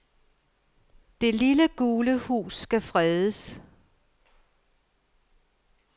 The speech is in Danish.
Det lille gule hus skal fredes.